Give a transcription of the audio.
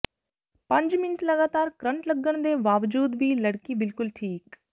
ਪੰਜ ਮਿੰਟ ਲਗਾਤਾਰ ਕਰੰਟ ਲੱਗਣ ਦੇ ਬਾਵਜੂਦ ਵੀ ਲੜਕੀ ਬਿਲਕੁਲ ਠੀਕ